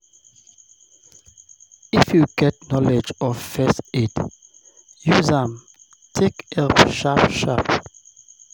if you get knowlege of first aid, use am take help sharp sharp